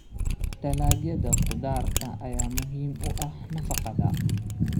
Dalagyada khudaarta ayaa muhiim u ah nafaqada.